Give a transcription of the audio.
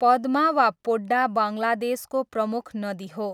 पद्मा वा पोड्डा बङ्गलादेशको प्रमुख नदी हो।